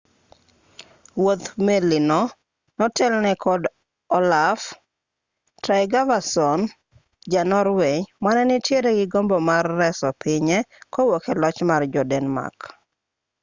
wuodh meli no notelne kod olaf trygvason ja-norway mane nitiere gi gombo mar reso pinye kowuok e loch mar jo-denmark